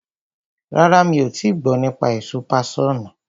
Rárá, mi ò tii gbọ́ nípa èso páṣọ̀nù.